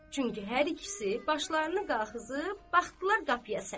Çünki hər ikisi başlarını qalxızıb baxdılar qapıya sarı.